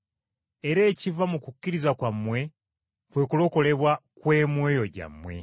era ekiva mu kukkiriza kwammwe kwe kulokolebwa kw’emyoyo gyammwe.